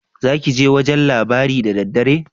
Zakije wajan labari da daddare?